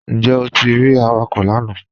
Njẹ́ o ti rí àwàkọ̀ lànà?